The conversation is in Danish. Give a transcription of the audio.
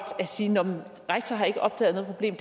at sige nå rektor har ikke opdaget noget problem